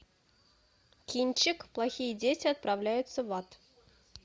кинчик плохие дети отправляются в ад